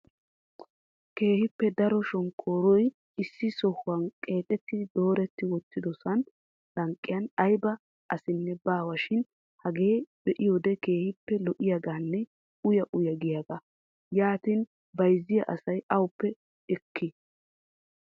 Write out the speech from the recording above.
keehippe daro shonkkoruwa issi sohuwa qnxxidi doori wottidoona lanqqiyan aybba asinne baawa shin hagee be'iyoode keehippe lo''iyaaganne uyya uyya giyaaga. yaatin bayzziya asa awupe ekko!